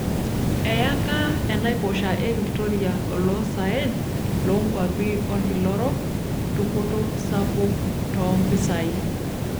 Eyaka enaiposha e Victoria oloosaen loonkwapi olkila orok dupoto sapuk toompisai.